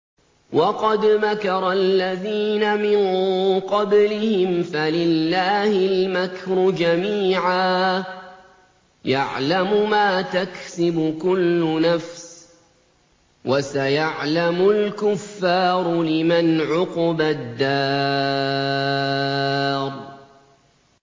وَقَدْ مَكَرَ الَّذِينَ مِن قَبْلِهِمْ فَلِلَّهِ الْمَكْرُ جَمِيعًا ۖ يَعْلَمُ مَا تَكْسِبُ كُلُّ نَفْسٍ ۗ وَسَيَعْلَمُ الْكُفَّارُ لِمَنْ عُقْبَى الدَّارِ